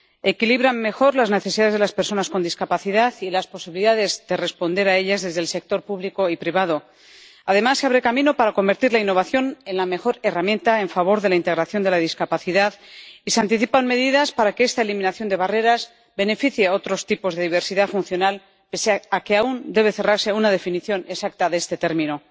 Equilibran mejor las necesidades de las personas con discapacidad y las posibilidades de responder a ellas desde el sector público y privado. Además, se abre camino para convertir la innovación en la mejor herramienta en favor de la integración de la discapacidad, y se anticipan medidas para que esta eliminación de barreras beneficie a otros tipos de diversidad funcional, pese a que aún debe cerrarse una definición exacta de este término.